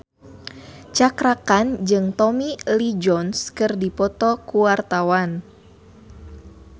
Cakra Khan jeung Tommy Lee Jones keur dipoto ku wartawan